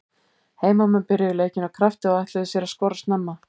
Heimamenn byrjuðu leikinn af krafti og ætluðu sér að skora snemma.